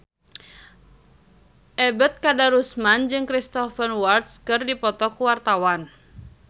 Ebet Kadarusman jeung Cristhoper Waltz keur dipoto ku wartawan